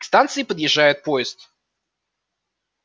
к станции подъезжает поезд